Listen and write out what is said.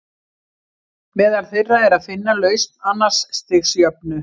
Meðal þeirra er að finna lausn annars stigs jöfnu.